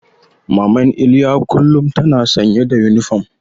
Maman Iliya kullum tana sanye da yunifom.